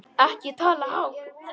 Ekki tala hátt!